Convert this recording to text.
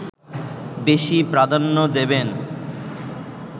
বেশি প্রাধান্য দেবেন